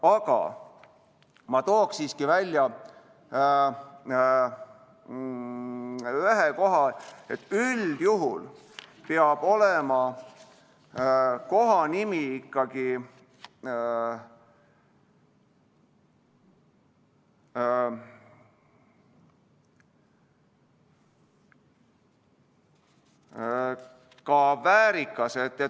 Aga ma toon siiski välja ühe asja: üldjuhul peab kohanimi olema ikkagi väärikas.